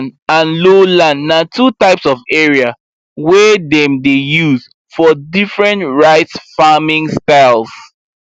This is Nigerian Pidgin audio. upland and lowland na two types of area wey dem dey use for different rice farming styles